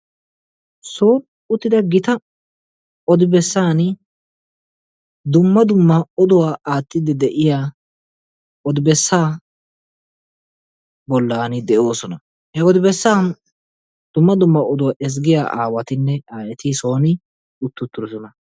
Soni uttida gita odibesaani dumma dumma oduwa aatiidi de'iya odibesa bolaani de'oosona. he odibesan dumma dumma oduwa ezggiya aawatinne aayeti soni utti uttidosona.